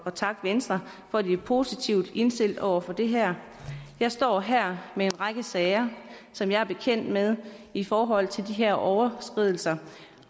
at takke venstre for at de er positivt indstillet over for det her jeg står her med en række sager som jeg er bekendt med i forhold til de her overskridelser